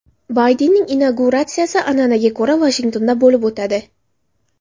Baydenning inauguratsiyasi an’anaga ko‘ra Vashingtonda bo‘lib o‘tadi.